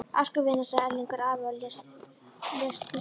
Afsakaðu, vina sagði Erlingur afi og lést hissa.